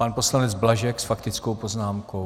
Pan poslanec Blažek s faktickou poznámkou.